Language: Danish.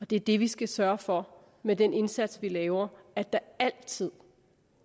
det er det vi skal sørge for med den indsats vi laver at der altid